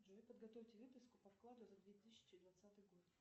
джой подготовьте выписку по вкладу за две тысячи двадцатый год